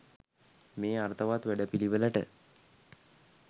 මේ අර්ථවත් වැඩපිළිවෙලට